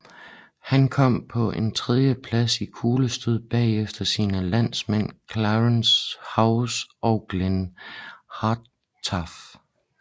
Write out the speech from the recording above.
Han kom på en tredje plads i kuglestød bagefter sine landsmænd Clarence Houser og Glenn Hartranft